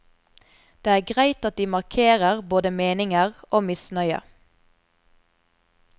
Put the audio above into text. Det er greit at de markerer både meninger og misnøye.